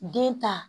Den ta